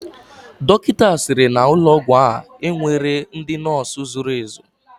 Dọkịta sịrị na ụlọ ọgwụ a enweghị ndị nọọsụ zuru ezu.